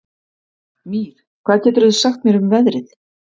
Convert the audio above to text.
Mír, hvað geturðu sagt mér um veðrið?